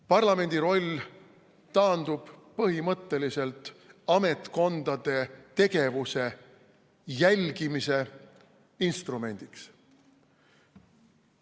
Parlament taandub põhimõtteliselt ametkondade tegevuse jälgimise instrumendiks.